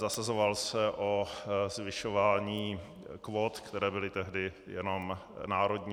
Zasazoval se o zvyšování kvót, které byly tehdy jenom národní.